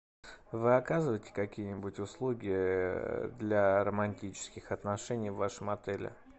вы оказываете какие нибудь услуги для романтических отношений в вашем отеле